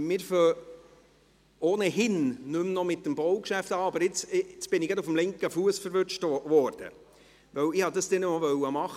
Wir beginnen ohnehin noch nicht mit dem Baugeschäft, aber nun wurde ich gerade auf dem linken Fuss erwischt, weil ich dies dann noch tun wollte: